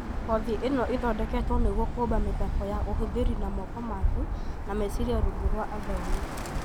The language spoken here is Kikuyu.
Kothi ĩno ĩthondeketwo nĩguo kũũmba mĩthako na ũhũthĩri na moko maaku na meciria rungu rwa athomi